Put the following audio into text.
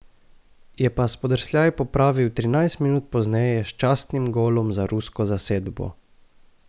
Je pa spodrsljaj popravil trinajst minut pozneje s častnim golom za rusko zasedbo.